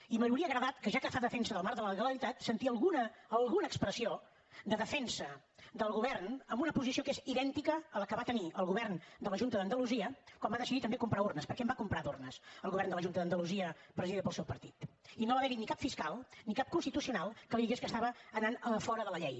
i m’hauria agradat ja que fa defensa del marc de la legalitat sentir alguna alguna expressió de defensa del govern en una posició que és idèntica a la que va tenir el govern de la junta d’andalusia quan va decidir també comprar urnes perquè en va comprar d’urnes el govern de la junta d’andalusia presidida pel seu partit i no haver hi ni cap fiscal ni cap constitucio nal que li digués que estava anant fora de la llei